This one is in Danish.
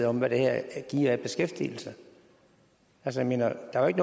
om hvad det her giver af beskæftigelse jeg mener at der ikke